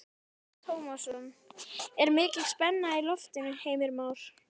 Telma Tómasson: Er mikil spenna í loftinu Heimir Már?